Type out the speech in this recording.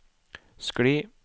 skli